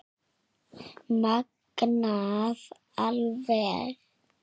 Magnað alveg